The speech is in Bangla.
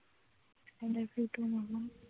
i love you too mammam